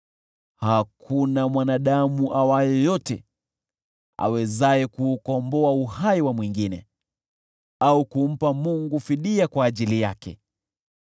Hakuna mwanadamu awaye yote awezaye kuukomboa uhai wa mwingine, au kumpa Mungu fidia kwa ajili yake.